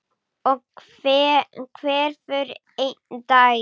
Og hverfur einn daginn.